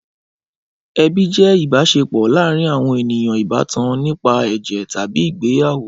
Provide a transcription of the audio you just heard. Ẹbi jẹ́ ìbáṣepọ̀ láàárin àwọn ènìyàn ìbátan nípa ẹ̀jẹ̀ tàbí ìgbéyàwó.